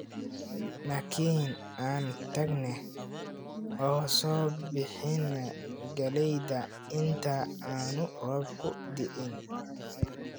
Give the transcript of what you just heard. Nakeen aan tagne oo soo bixina galleyda inta aanu roobku da'in